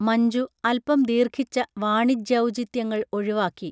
മഞ്ജു അൽപം ദീർഘിച്ച വാണിജ്യൗചിത്യങ്ങൾ ഒഴിവാക്കി